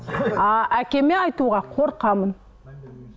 а әкеме айтуға қорқамын